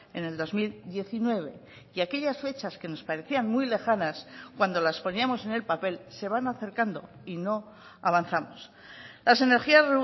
en el dos mil diecinueve y aquellas fechas que nos parecían muy lejanas cuando las poníamos en el papel se van acercando y no avanzamos las energías